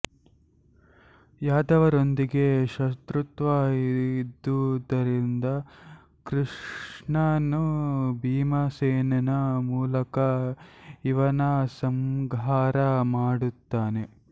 ಯಾದವರೊಂದಿಗೆ ಶತ್ರುತ್ವ ಇದ್ದುದರಿಂದ ಕೃಷ್ಣನು ಭೀಮಸೇನನ ಮೂಲಕ ಇವನ ಸಂಹಾರ ಮಾಡುತ್ತಾನೆ